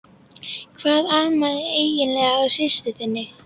Hvað amaði eiginlega að systur þinni?